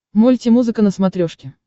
мульти музыка на смотрешке